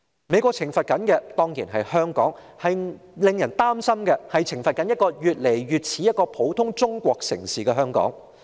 美國懲罰的當然是香港，但令人擔心的是，美國是否在懲罰一個越來越像普通中國城市的香港。